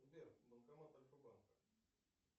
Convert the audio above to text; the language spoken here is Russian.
сбер банкомат альфа банка